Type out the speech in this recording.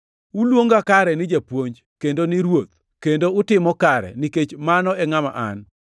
Uluonga kare ni ‘Japuonj’ kendo ni ‘Ruoth,’ kendo utimo kare, nikech mano e ngʼama an.